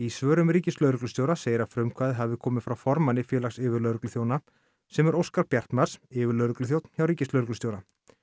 svörum ríkislögreglustjóra segir að frumkvæðið hafi komið frá formanni Félags yfirlögregluþjóna sem er Óskar Bjartmarz yfirlögregluþjónn hjá ríkislögreglustjóra